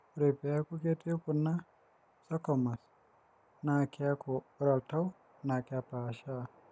ore pee eeku ketii kuna sarcomeres naa keeku ore oltau naa kepaashaa